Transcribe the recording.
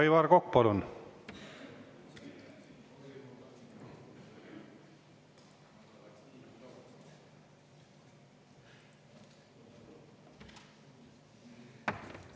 Aivar Kokk, palun!